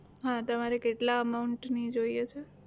હા તમારે કેટલા amount ની જોઈએ છે?